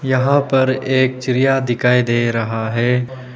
यहां पर एक चिड़िया दिखाई दे रहा है।